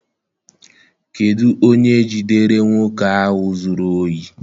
Kedụ onye jidere nwoke ahụ zụrụ ohi?